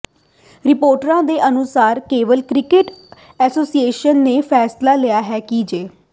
ਰਿਪੋਰਟਾਂ ਦੇ ਅਨੁਸਾਰ ਕੇਰਲ ਕ੍ਰਿਕਟ ਐਸੋਸੀਏਸ਼ਨ ਨੇ ਫੈਸਲਾ ਲਿਆ ਹੈ ਕਿ ਜੇ